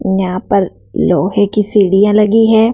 यहां पर लोहे की सीढ़ियां लगी हैं।